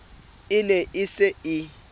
e ne e se e